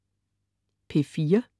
P4: